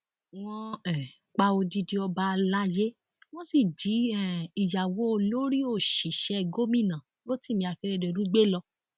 wọn um pa odidi ọba alayé wọn sì jí um ìyàwó olórí òṣìṣẹ gómìnà rotimi akeredolu gbé lọ